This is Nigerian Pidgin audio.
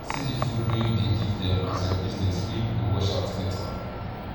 see di food wey u dey give dem as ur business wey u go washout later